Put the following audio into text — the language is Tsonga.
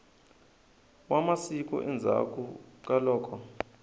wa masiku endzhaku ka loko